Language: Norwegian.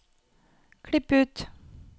Klipp ut